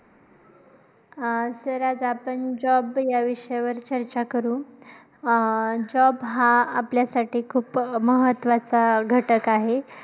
अं sir आज आपण job या विषयावर चर्चा करू. अं job हा आपल्यासाठी खूप महत्वाचा घटक आहे.